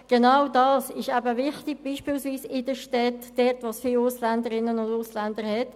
Genau dies ist sehr wichtig, vor allem in den Städten, wo es viele Ausländerinnen und Ausländer gibt.